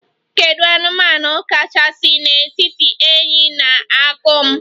Kedu anụmanụ kachasị n'etiti enyí na akum?